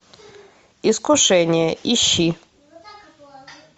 искушение ищи